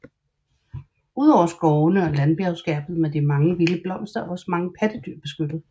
Ud over skovene og bjerglandskabet med mange vilde blomster er også mange pattedyr beskyttet